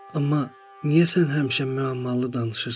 Amma niyə sən həmişə müəmmalı danışırsan?